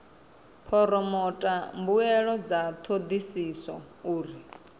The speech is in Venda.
phoromotha mbuelo dza thodisiso uri